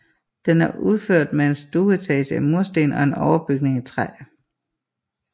Den er udført med en stueetage i mursten og en overbygning i træ